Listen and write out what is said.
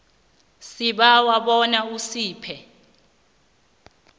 sibawa bona usiphe